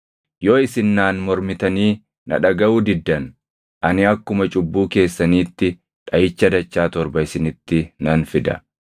“ ‘Yoo isin naan mormitanii na dhagaʼuu diddan, ani akkuma cubbuu keessaniitti dhaʼicha dachaa torba isinitti nan fida.